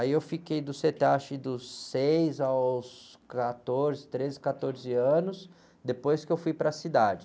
Aí eu fiquei do cê-tê-á, acho que dos seis aos quatorze, treze, quatorze anos, depois que eu fui para a cidade.